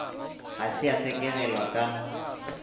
ga se ya sekegelwa ka